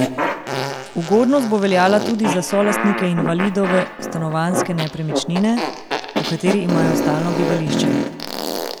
Ugodnost bo veljala tudi za solastnike invalidove stanovanjske nepremičnine, v kateri imajo stalno bivališče.